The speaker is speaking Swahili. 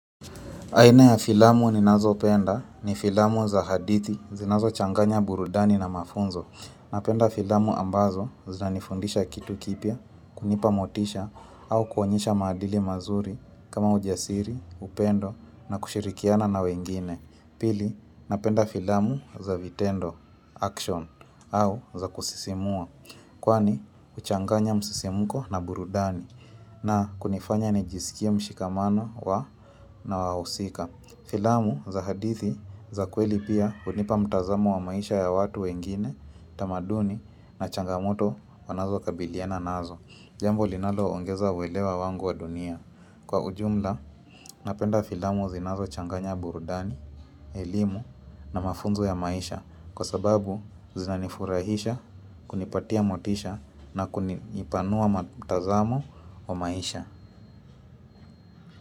Aina ya filamu ninazopenda ni filamu za hadithi zinazochanganya burudani na mafunzo. Napenda filamu ambazo zinanifundisha kitu kipya, kunipa motisha au kuonyesha maadili mazuri kama ujasiri, upendo na kushirikiana na wengine. Pili, napenda filamu za vitendo, action, au za kusisimua. Kwani huchanganya msisimko na burudani na kunifanya nijisikia mshikamano wa na wahusika. Filamu za hadithi za kweli pia hunipa mtazamo wa maisha ya watu wengine tamaduni na changamoto wanazokabiliana nazo. Jambo linalo ongeza uelewa wangu wa dunia. Kwa ujumla napenda filamu zinazo changanya burudani, elimu na mafunzu ya maisha kwa sababu zinanifurahisha kunipatia motisha na kunipanua mtazamo wa maisha.